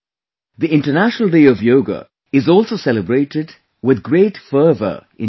The International Day of Yoga is also celebrated with great fervor in Chile